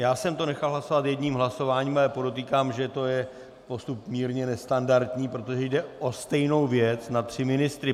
Já jsem to nechal hlasovat jedním hlasováním, ale podotýkám, že to je postup mírně nestandardní, protože jde o stejnou věc na tři ministry.